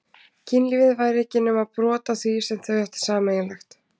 Kynlífið væri ekki nema brot af því sem þau ættu sameiginlegt.